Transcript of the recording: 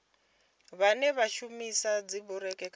vhane vha shumisa dzibureiḽi kana